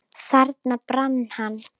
Þarna brann hann.